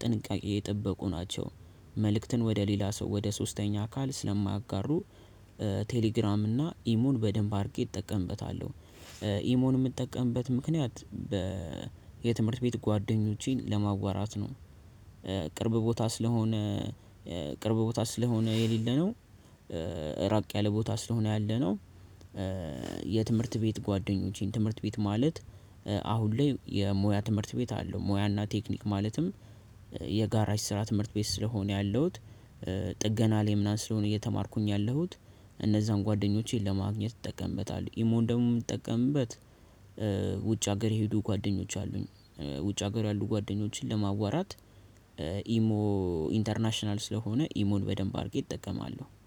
ጥንቃቄ የጠበቁ ናቸው መልእክትን ወደ ሌላ ሰው ወደ ሶስተኛ አካል ስለማያጋሩ ቴሌግራም እና ኢሞን በደንብ አድርጌ እጠቀምበታለሁ። ኢሞን የምጠቀምበት ምክንያት የትምህርት ቤት ጓደኞቼን ለማዋራት ነው ቅርብ ቦታ ስለሆነ ቅርብ ቦታ ስለሆነ የሌለነው ራቅ ያለ ቦታ ስለሆነ ያለነው የትምህርት ቤት ጓደኞቼን ትምህርት ቤት ማለት አሁን ላይ የሙያ ትምህርት ቤት አለው ሙያና ቴክኒክ ማለትም የጋራዥ ስራ ትምህርት ቤት ስለሆነ ያለሁት ጥገና ላይ ምናምን ስለሆነ እየተማርኩኝ ያለሁት እነዛን ጓደኞቼን ለማግኘት እጠቀምበታለሁ። ኢሞን ደግሞ የምጠቀምበት ውጭ ሀገር የሄዱ ጓደኞች አሉኝ ውጭ ሀገር ያሉ ጓደኞችን ለማዋራት ኢሞ ኢንተርናሽናል ስለሆነ ኢሞን በደንብ አድርጌ እጠቀማለሁ።